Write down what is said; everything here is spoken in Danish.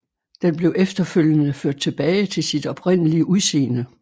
Den blev efterfølgende ført tilbage til sit oprindelige udseende